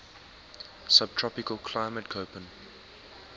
subtropical climate koppen